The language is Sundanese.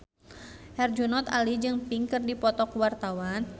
Herjunot Ali jeung Pink keur dipoto ku wartawan